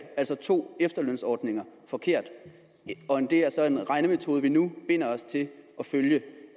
altså to efterlønsordninger forkert det er så en regnemetode vi nu binder os til at følge